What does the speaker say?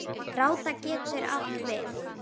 Gráða getur átt við